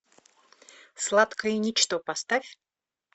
сладкое ничто поставь